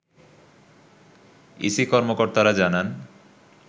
EC কর্মকর্তারা জানান